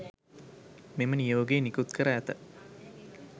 මෙම නියෝගය නිකුත් කර ඇත